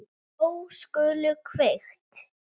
Ljós skulu kveikt.